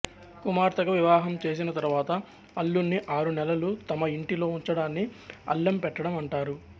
కుమార్తెకు వివాహం చేసిన తరువాత అల్లుణ్ణి ఆరు నెలలు తమ యింటిలో ఉంచడాన్ని అల్లెం పెట్టడం అంటారు